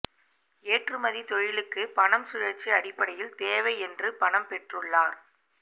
ஏற்றுமதி தொழிலுக்கு பணம் சுழற்சி அடிப்படையில் தேவை என்று பணம் பெற்றுள்ளார்